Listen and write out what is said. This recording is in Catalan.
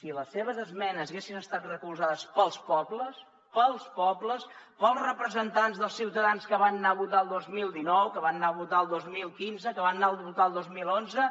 si les seves esmenes haguessin estat recolzades pels pobles pels pobles pels representants dels ciutadans que van anar a votar el dos mil dinou que van anar a votar el dos mil quinze que van anar a votar el dos mil onze